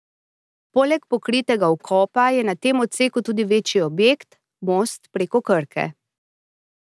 Poleg pokritega vkopa je na tem odseku tudi večji objekt, most preko Krke.